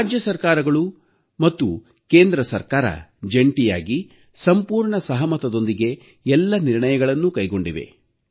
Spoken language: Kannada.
ರಾಜ್ಯ ಸರ್ಕಾರಗಳು ಮತ್ತು ಕೇಂದ್ರ ಸರ್ಕಾರ ಜಂಟಿಯಾಗಿ ಸಂಪೂರ್ಣ ಸಹಮತದೊಂದಿಗೆ ಎಲ್ಲ ನಿರ್ಣಯಗಳನ್ನೂ ಕೈಗೊಂಡಿವೆ